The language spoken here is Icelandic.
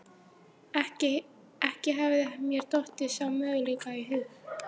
Ekki hafði mér dottið sá möguleiki í hug.